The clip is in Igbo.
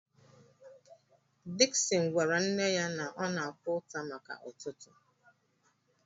Dickson gwara nne ya na ọ na-akwa ụta maka ụtụtụ